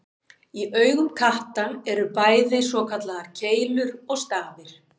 Í augum katta eru bæði svokallaðar keilur og stafir.